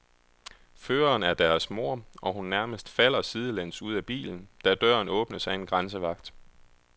Føreren er deres mor og hun nærmest falder sidelæns ud af bilen, da døren åbnes af en grænsevagt.